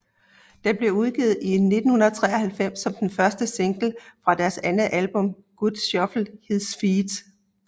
Den blev udgivet i 1993 som den første single fra deres andet album God Shuffled His Feet